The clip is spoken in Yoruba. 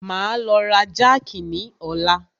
Máa lọ ra jákì ni ọ̀la.